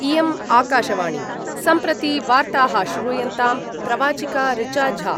इयम् आकाशवाणी सम्प्रति वार्ताः श्रूयन्ताम् प्रवाचिका ऋचा झा